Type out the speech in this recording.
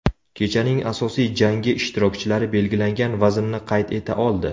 Kechaning asosiy jangi ishtirokchilari belgilangan vaznni qayd eta oldi.